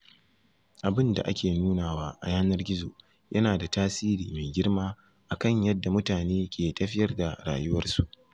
Abin da ake nunawa a yanar gizo yana da tasiri mai girma a kan yadda mutane ke tafiyar da rayuwarsu.